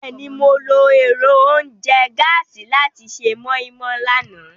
Bẹ́ẹ̀ni, Mo lo ẹ́rọ ounjẹ gàasi làti ṣe moi-moi làná.